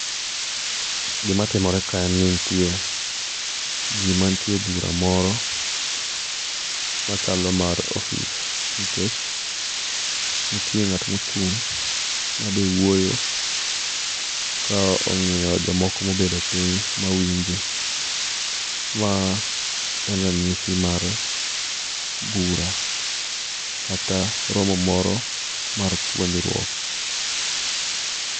Gima timore kae en ni nitie ji mantie e bura moro machalo mar ofis nikech nitie ng'at moro ma be ochung' kaji wuoyo ka ong'iyo jomoko ma obedo piny ma winje. Ma en ranyisi mar bura kata romo mar puonjruok.